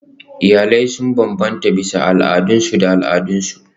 Iyalai sun bambanta bisa al'adunsu da al'adunsu.